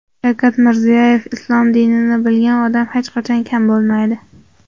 Shavkat Mirziyoyev: "Islom dinini bilgan odam hech qachon kam bo‘lmaydi".